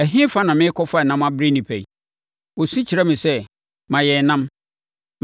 Ɛhefa na merekɔfa ɛnam abrɛ nnipa yi? Wɔsu kyerɛ me sɛ, ‘Ma yɛn ɛnam!’